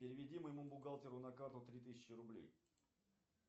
переведи моему бухгалтеру на карту три тысячи рублей